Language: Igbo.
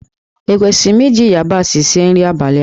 Ekwesịrị m iji yabasị sie nri abalị a?